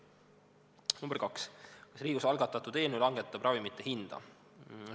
Küsimus nr 2: "Kas Riigikogus algatatud eelnõu langetab ravimite hinda?